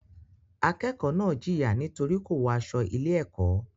Akẹ́kọ̀ọ́ náà jìyà nítorí kò wọ aṣọ ilé-ẹ̀kọ́.